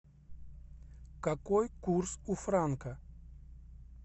какой курс у франка